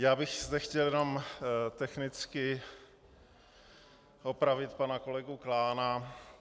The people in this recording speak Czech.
Já bych zde chtěl jenom technicky opravit pana kolegu Klána.